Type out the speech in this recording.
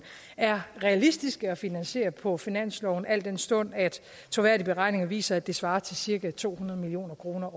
er realistiske at finansiere på finansloven al den stund at troværdige beregninger viser at det svarer til cirka to hundrede million kroner